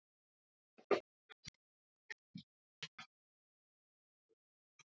Hún skyldi sýna þeim.